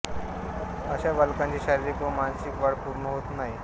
अशा बालकांची शारीरिक व मानसिक वाढ पूर्ण होत नाही